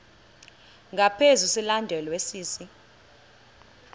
ngaphezu silandelwa sisi